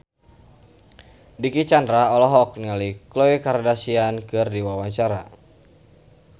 Dicky Chandra olohok ningali Khloe Kardashian keur diwawancara